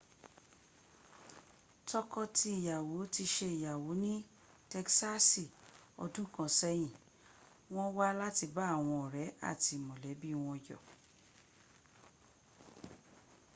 tọkọ tí ìyàwó ti ṣe ìyàwó ní tegsaasi ọdún kan sẹ́yìn wọ́n wá láti bá àwọn ọ̀rẹ́ àti mọ̀lẹ́bí won yọ